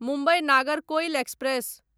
Mumbai Nagercoil express